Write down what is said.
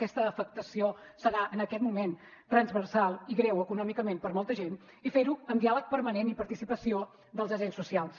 aquesta afectació serà en aquest moment transversal i greu econòmicament per a molta gent i fer ho amb diàleg permanent i participació dels agents socials